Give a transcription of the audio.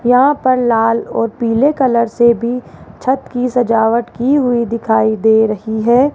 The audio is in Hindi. यहां पर लाल और पीले कलर से भी छत की सजावट की हुई दिखाई दे रही है।